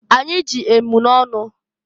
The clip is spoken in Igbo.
Anyị ji emunọnụ.